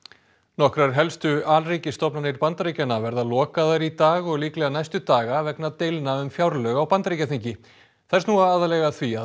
nokkrar helstu Bandaríkjanna verða lokaðar í dag og líklega næstu daga vegna deilna um fjárlög á Bandaríkjaþingi þær snúa aðallega að því að